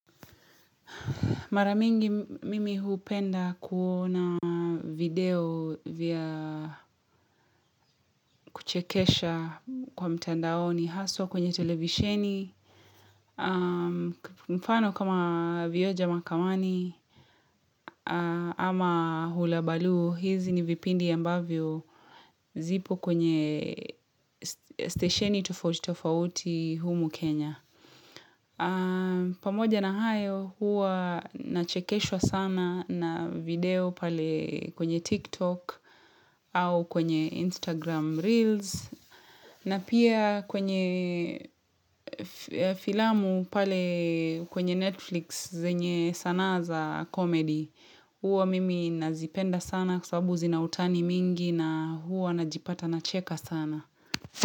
Mara mingi mimi hupenda kuona video vya kuchekesha kwa mtandaoni haswa kwenye televisheni, mfano kama vioja mahakamani, ama hulabaloo, hizi ni vipindi ambavyo zipo kwenye stesheni tofauti tofauti humu Kenya. Pamoja na hayo huwa nachekeshwa sana na video pale kwenye TikTok au kwenye Instagram Reels na pia kwenye filamu pale kwenye Netflix zenye sanaa za komedi. Huwa mimi nazipenda sana kwa sababu zina utani mingi na huwa najipata nacheka sana.